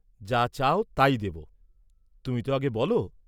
যা চাও তাই দেব, তুমিতো আগে বল।